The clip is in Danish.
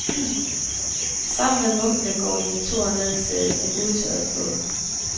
Sammen med munkene går de en tur ned til en udtørret flod.